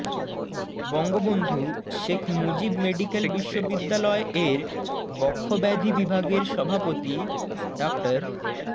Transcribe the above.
Bangabandhu Sheikh Mujib medical বিশ্ববিদ্যালয় এর বক্ষব্যাধি বিভাগের সভাপতি ডা